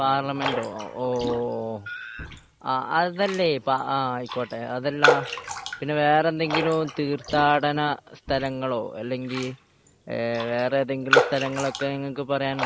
പാർലമെന്റോ ഓഹ് അതല്ലേ ആയിക്കോട്ടെ അതല്ല വേറെ എന്തെങ്കിലും തീർത്ഥാടന സ്ഥലങ്ങളോ അല്ലെങ്കിൽ വേറെ ഏതെങ്കിലും സ്ഥലങ്ങൾ ഒക്കെ നിങ്ങൾക്ക് പറയാനുണ്ടോ